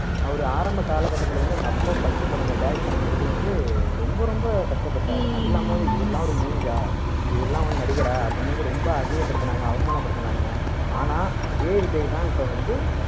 அவரு ஆரம்ப கால கட்டத்துல வந்து அவங்க அப்ப first படம் direct பண்ணும் போது வந்து ரொம்ப ரொம்ப கஷ்டப்பட்டாரு அது இல்லாம இவரு எல்லாம் இரு மூஞ்சா இவரெல்லாம் நடிகரா அப்படின்னு வந்து ரொம்ப அசிங்கப்படுத்துனாங்க அவமானப்படுத்துனாங்க ஆனா அதே விஜய் தான் இப்போ வந்து